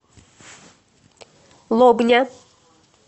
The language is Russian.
лобня